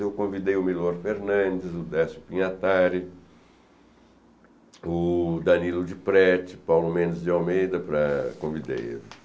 Eu convidei o Millôr Fernandes, o Décio Pinatari, o Danilo de Preti, Paulo Mendes de Almeida para convidei.